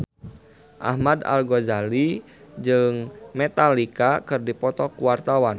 Ahmad Al-Ghazali jeung Metallica keur dipoto ku wartawan